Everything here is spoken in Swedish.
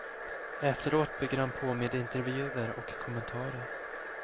Efteråt bygger han på med intervjuer och kommentarer.